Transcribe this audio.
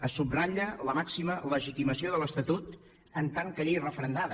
se subratlla la màxima legitimació de l’estatut en tant que llei referendada